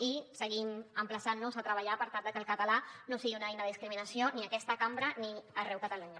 i seguim emplaçant nos a treballar per tal de que el català no sigui una eina de discriminació ni a aquesta cambra ni enlloc de catalunya